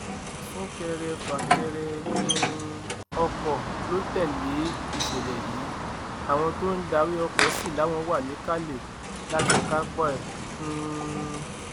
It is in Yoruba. súnkẹrẹ fàkẹrẹ um ọkọ ló tẹlé ìṣẹlẹ yìí àwọn tó ń darí ọkọ sí làwọn wà níkàlẹ láti kápá ẹ um